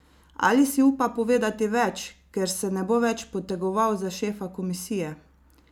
Ali si upa povedati več, ker se ne bo več potegoval za šefa komisije?